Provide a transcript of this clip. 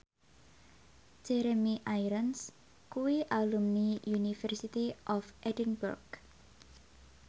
Jeremy Irons kuwi alumni University of Edinburgh